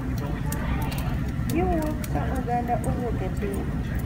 Giwuok ka oganda owuok e piny .